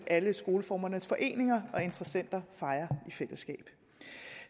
alle skoleformernes foreninger og interessenter fejrer i fællesskab